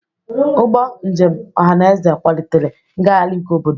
Ụgbọ njem ọhaneze kwalitere ngagharị nke obodo.